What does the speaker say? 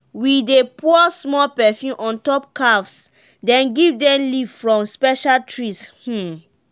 we dey pour small perfume on top calves then give them leave from special trees. um